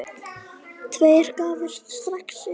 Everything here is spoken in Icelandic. Tveir gáfust strax upp.